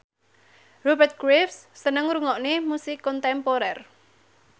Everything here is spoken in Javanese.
Rupert Graves seneng ngrungokne musik kontemporer